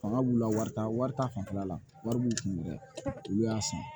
Fanga b'u la warita wari ta fanfɛla la wari b'u kun dɛ olu y'a san